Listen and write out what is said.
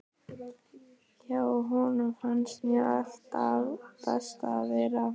Hjá honum fannst mér alltaf best að vera.